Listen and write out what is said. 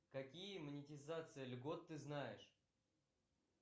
какие монетизации льгот ты знаешь